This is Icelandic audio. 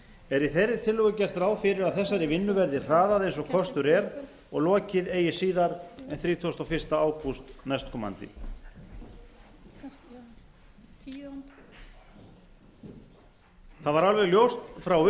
er í þeirri tillögu gert ráð fyrir að þessari vinnu verði hraðað eins og kostur er og lokið eigi síðar en þrítugasta og fyrsta ágúst næstkomandi það var alveg ljóst frá